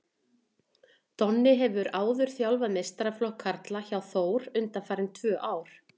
Donni hefur áður þjálfað meistaraflokk karla hjá Þór undanfarin tvö ár.